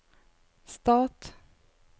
stat